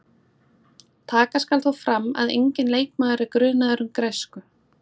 Taka skal þó fram að enginn leikmaður er grunaður um græsku.